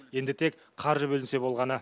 енді тек қаржы бөлінсе болғаны